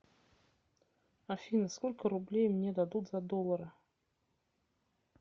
афина сколько рублей мне дадут за доллары